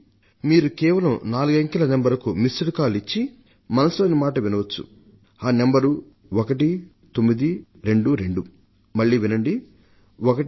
మీరు కేవలం నాలుగంకెల నంబర్కు మిస్ డ్ కాల్ ఇచ్చి మన్ కీ బాత్ మనసు లోని మాట కార్యక్రమం వినవచ్చు